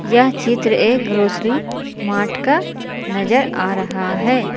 यह चित्र एक ग्रोसरी मार्ट का नजर आ रहा है।